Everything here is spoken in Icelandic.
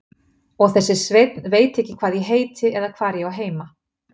Og þessi Sveinn veit ekki hvað ég heiti eða hvar ég á heima.